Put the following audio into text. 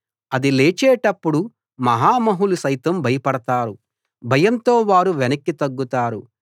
అది లేచేటప్పుడు మహామహులు సైతం భయపడతారు భయంతో వారు వెనక్కి తగ్గుతారు